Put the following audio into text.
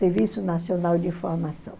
Serviço Nacional de Informação.